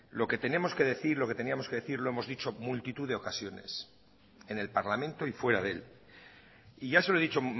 lo que tenemos que decir lo que teníamos que decir lo hemos dicho en multitud de ocasiones en el parlamento y fuera de él y ya se lo he dicho